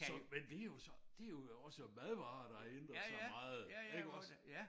Så men det jo så det jo også madvarer der har ændret sig meget iggås